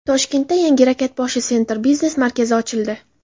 Toshkentda yangi Rakatboshi Center biznes markazi ochildi.